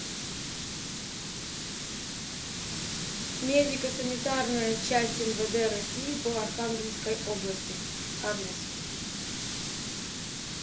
медико санитарная часть мвд россии по архангельской области адрес